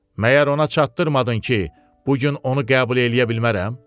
məgər ona çatdırmadın ki, bu gün onu qəbul eləyə bilmərəm?